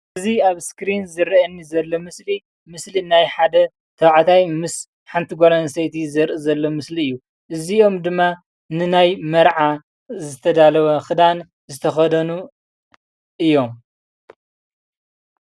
እዚ ኣብ እስክሪኒ ዝረአየኒ ዘሎ ምስሊ ምስሊናይ ሓደ ተባዕታይ ምስ ሓንቲ ጓል ኣንስተይቲ ዘርኢ ዘሎ ምስሊ እዩ። እዚኦም ድማ ንናይ መርዓ ዝተዳለወ ክዳን ዝተከደኑ እዮም::